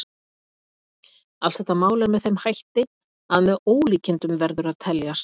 Allt þetta mál er með þeim hætti að með ólíkindum verður að teljast.